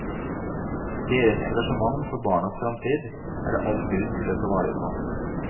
Deres engasjement for barnas fremtid er det all grunn til å ta vare på.